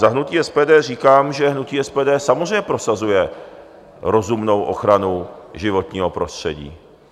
Za hnutí SPD říkám, že hnutí SPD samozřejmě prosazuje rozumnou ochranu životního prostředí.